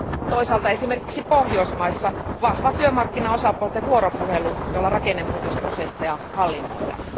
Toisaalta esimerkiksi Pohjoismaissa vahva työmarkkinaosapuolten vuoropuhelu, jolla rakennemuutosprosesseja hallinnoidaan.